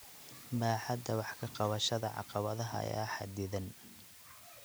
Baaxadda wax ka qabashada caqabadaha ayaa xaddidan.